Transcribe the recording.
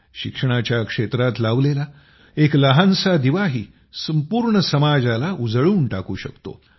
शिक्षणाच्या क्षेत्रात लावलेला एक लहानसा दिवाही पूर्ण समाजाला उजळून टाकू शकतो